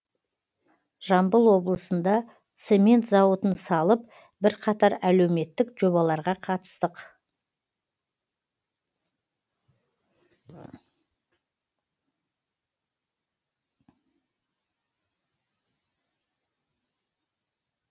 жамбыл облысында цемент зауытын салып бірқатар әлеуметтік жобаларға қатыстық